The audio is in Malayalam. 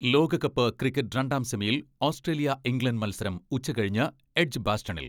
ലോകകപ്പ് ക്രിക്കറ്റ് രണ്ടാം സെമിയിൽ ഓസ്ട്രേലിയ, ഇംഗ്ലണ്ട് മത്സരം ഉച്ച കഴിഞ്ഞ് എഡ്ജ് ബാസ്റ്റണിൽ.